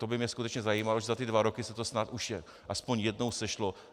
To by mě skutečně zajímalo, zda za ty dva roky se to snad už aspoň jednou sešlo.